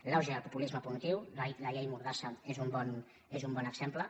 l’auge i el populisme punitiu la llei mordassa n’és un bon exemple